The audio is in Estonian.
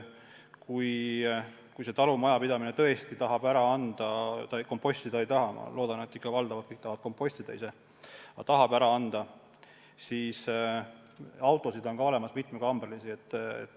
Kui see talumajapidamine tahab biojäätmeid ka ära anda, kompostida ei taha – ma loodan, et ikka valdavalt kõik tahavad kompostida ise –, siis autosid on olemas mitmekambrilisi.